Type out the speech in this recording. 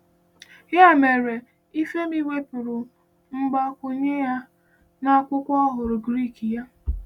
Ya mere, Ifeimi wepụrụ mgbakwunye a n’Akwụkwọ Ọhụrụ Grik ya.